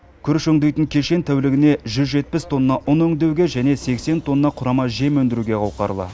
күріш өңдейтін кешен тәулігіне жүз жетпіс тонна ұн өңдеуге және сексен тонна құрама жем өндіруге қауқарлы